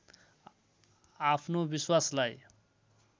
आफ्नो विश्वासलाई